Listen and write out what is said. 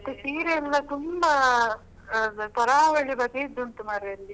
ಮತ್ತೆ ಸೀರೆ ಎಲ್ಲ ತುಂಬಾ ತರಾವಳಿ ಬಗೆದು ಉಂಟು ಮಾರ್ರೆ ಅಲ್ಲಿ.